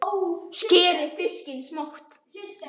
Skerið fiskinn smátt.